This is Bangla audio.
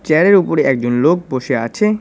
চেয়ার -এর উপরে একজন লোক বসে আছে।